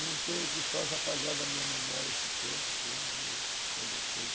Não tem o que faça apagar da minha memória esse tempo todo que eu lutei.